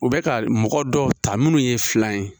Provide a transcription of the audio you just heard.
U bɛ ka mɔgɔ dɔw ta minnu ye fila ye